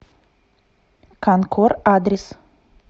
канкор адрес